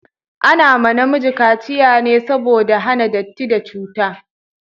Ana ma namiji kaciya ne saboda a hana datti da cuta